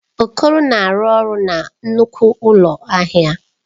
Okoro na-arụ ọrụ na nnukwu ụlọ ahịa.